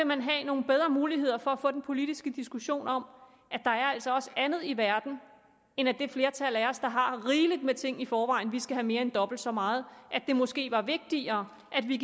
man have nogle bedre muligheder for få den politiske diskussion om at der altså også er andet i verden end at det flertal af os der har rigeligt med ting i forvejen skal have mere end dobbelt så meget det er måske vigtigere at vi